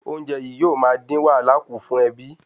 Oúnjẹ yìí yóò ma din wàhálà ku fún ẹbí